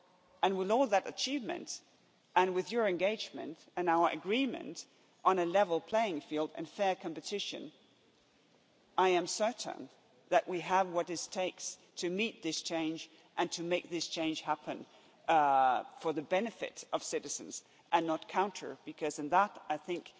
And with all that achievement and with your engagement and our agreement on a level playing field and fair competition I am certain that we have what it takes to meet this challenge and to make this change happen for the benefit of citizens and not counter it, because in that I think